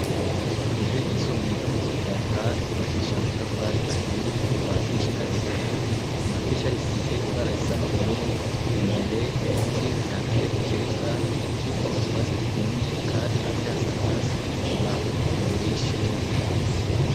Ku ishuri ry'isumbuye ryo mu Kivoga ibakisha amatafari ahiye kuva hasi gushika hejuru .Ku madirisha risize ibara isa n'ubururu imbere ibiti bihateye ku kibuga kiko twasi twumye kandi hasi hasanzwe hasiz isima imbere y'ishuri.